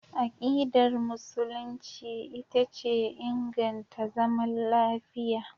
Akidar Musulunci ita ce inganta zaman lafiya.